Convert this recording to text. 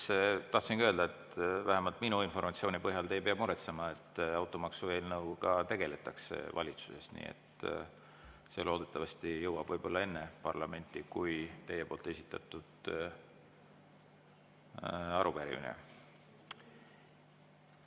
Jaa, tahtsingi öelda, et vähemalt minu informatsiooni põhjal te ei pea muretsema, automaksu eelnõuga valitsuses tegeldakse, nii et see loodetavasti jõuab parlamenti enne, kui teie esitatud arupärimisele.